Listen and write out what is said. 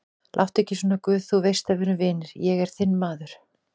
Láttu ekki svona guð, þú veist að við erum vinir, ég er þinn maður.